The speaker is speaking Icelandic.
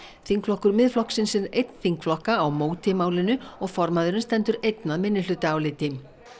þingflokkur Miðflokksins er einn þingflokka á móti málinu og formaðurinn stendur einn að minnihlutaáliti